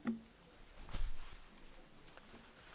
Tisztelt elnök úr, tisztelt hölgyeim és uraim!